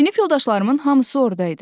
Sinif yoldaşlarımın hamısı orda idi.